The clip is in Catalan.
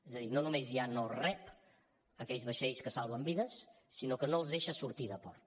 és a dir no només ja no rep aquells vaixells que salven vides sinó que no els deixa sortir de port